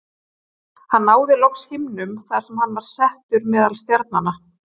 Hann náði loks himnum þar sem hann var settur meðal stjarnanna.